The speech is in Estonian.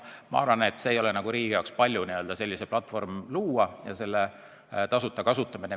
Ma arvan, et see ei ole riigi jaoks palju selline platvorm luua ja võimaldada meie ühingutel seda tasuta kasutada.